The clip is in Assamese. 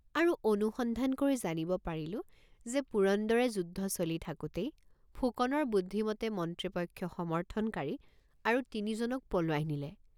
আৰু অনুসন্ধান কৰি জানিব পাৰিলো যে পুৰন্দৰে যুদ্ধ চলি থাকোতেই ফুকনৰ বুদ্ধিমতে মন্ত্ৰীপক্ষ সমৰ্থনকাৰী আৰু তিনিজনক পলুৱাই নিলে।